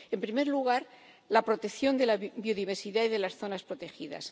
En primer lugar, la protección de la biodiversidad y de las zonas protegidas.